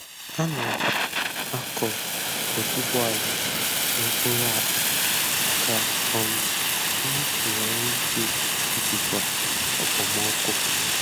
Ana m akụ otuboala n’okpuru akpa ka um m nwee ike ijikwa okpomọkụ.